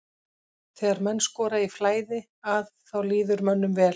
Þegar menn skora í flæði að þá líður mönnum vel.